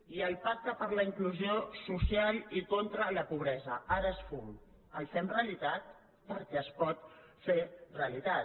i el pacte per la inclusió social i contra la pobresa ara és fum el fem realitat perquè es pot fer realitat